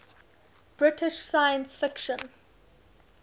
british science fiction